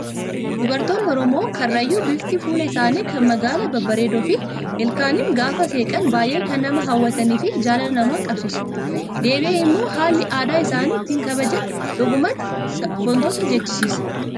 Dubaroonni oromoo karrayyuu bifti fuula isaanii kaan magaala babbareedoo fi ilkaaniin gaafa seeqan baay'ee kan nama hawwatanii fi jaalala nama qabsiisu. Deebi'ee immoo haalli aadaa isaanii ittiin kabajan dhugumatti sabboontota jechisiisa.